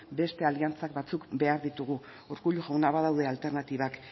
beste aliantza batzuk behar ditugu urkullu jauna badaude alternatibak